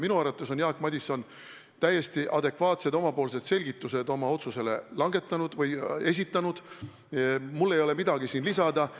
Minu arvates on Jaak Madison täiesti adekvaatsed selgitused oma otsuse kohta esitanud, mul ei ole siin midagi lisada.